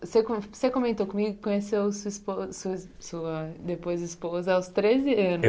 Você co você comentou comigo que conheceu sua depois esposa sua sua sua depois esposa aos treze anos